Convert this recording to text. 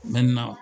N bɛ na